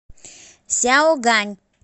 сяогань